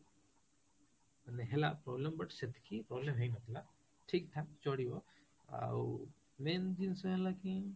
ମାନେ ହେଲା problem but ସେତିକି problem ହେଇନଥିଲା, ଠୀଙ୍କ ଠାକ ଚଳିବ ଆଉ main ଜିନିଷ ହେଲା କି